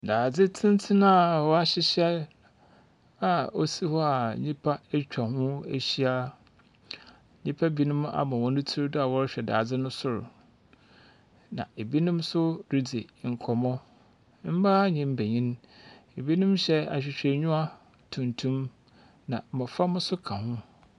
Dadze tsentsen a wɔahyehyɛ a osi hɔ a nyimpa etwa ho ehyia. Nyimpa binom ama hɔn tsir do a wɔrehwɛ dadze no sor, na binom nso ridzi nkɔmmɔ. Mbaa ne mbenyim. Binom yɛ ahwehwɛnyiwa tuntum, na mboframba nso ka ho.